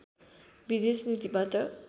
विदेश नीतिबाट